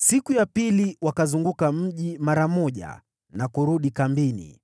Siku ya pili wakauzunguka mji mara moja na kurudi kambini.